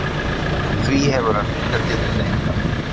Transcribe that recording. Því hefur hann hingað til neitað